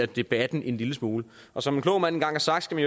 debatten en lille smule som en klog mand engang har sagt skal